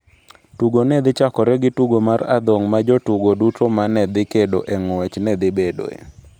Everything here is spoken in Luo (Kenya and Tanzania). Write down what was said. Tugo ne dhi chakore gi tugo mar adhong' ma jotugo duto ma ne dhi kedo e ng'wech ne dhi bedoe.